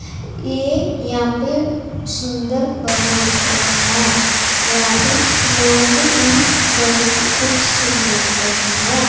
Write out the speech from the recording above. ये यहां पे सुंदर बहुत हैं यहां पे लोग भी बहुत खूबसूरत हैं।